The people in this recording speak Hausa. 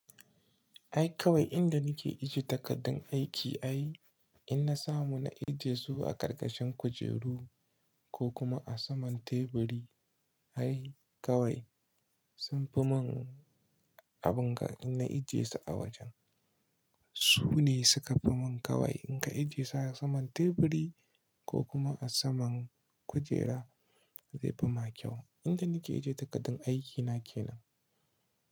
Ai kawai inda nake ije takardun aiki ai in na samu na ije su a ƙarƙashin kujeru ko kuma a saman teburi ai kawai sun fi mun abun ga in na ije su a wajen. Su ne suka fimun kawai in ka ije su a saman teburi ko kuma a saman kujera zai fi ma kyau. Inda nake ije takardun aikina kenan.